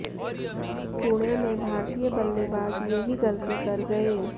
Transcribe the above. पुणे में भारतीय बल्लेबाज यही गलती कर गए